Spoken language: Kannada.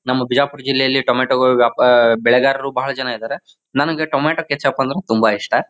ನಮ್ಮ ಬೀಜಾಪುರ್ ಜಿಲ್ಲೆಯಲ್ಲಿ ಟೊಮೇಟೊ ವ್ಯಾಪ್ ಬೆಳೆಗಾರರು ಬಹಳ ಜನ ಇದ್ದಾರ ನನಗೆ ಟೊಮೇಟೊ ಕೆಚಪ್ ಅಂದ್ರೆ ತುಂಬಾ ಇಷ್ಟ.